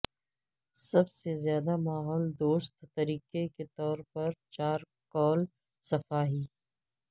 سب سے زیادہ ماحول دوست طریقے کے طور پر چارکول صفائی